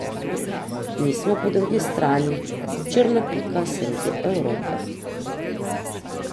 Mi smo, po drugi strani, črna pika sredi Evrope.